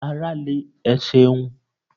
Ara le, ẹ ṣeun.